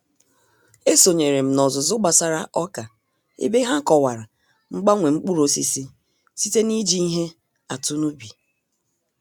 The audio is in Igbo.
E sonyeere m n'ọzụzụ gbasara ọka ebe ha kọwara mgbanwe mkpụrụ osisi site n'iji ihe atụ n'ubi